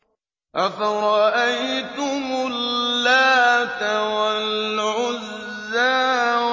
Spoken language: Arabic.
أَفَرَأَيْتُمُ اللَّاتَ وَالْعُزَّىٰ